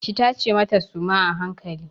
Ki tace mata suma a hankali!